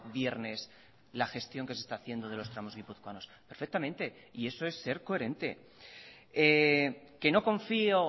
viernes la gestión que se está haciendo de los tramos guipuzcoanos perfectamente y eso es ser coherente que no confío